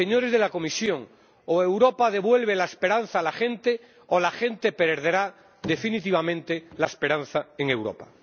señores de la Comisión, o Europa devuelve la esperanza a la gente, o la gente perderá definitivamente la esperanza en Europa.